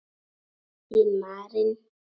Þín Marín.